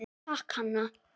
Takk, Hanna.